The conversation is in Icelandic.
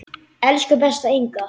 Elsku besta Inga.